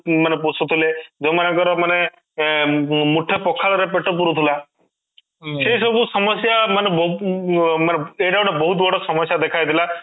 ମାନେ ପୋଷୁଥିଲେ ଯୋଉଁମାନଙ୍କର ମାନେ ଏଁ ମାନେ ମୁଠା ପଖାଳ ରେ ପେଟ ପୁରୁଥିଲା ସେ ସବୁ ସମସ୍ୟା ମାନେ ବ ମାନେ ଏଇଟା ଗୋଟେ ବହୁତ ବଡ ସମସ୍ୟା ଦେଖାଯାଇଥିଲା